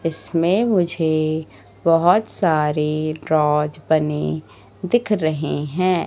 इसमें मुझे बहोत सारे ड्रॉज बनी दिख रहे हैं।